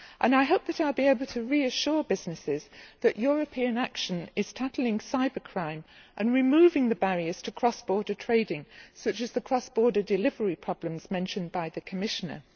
I hope that I will be able to reassure businesses that European action is tackling cyber crime, and removing the barriers to cross border trading such as the cross border delivery problems mentioned by the Commissioner.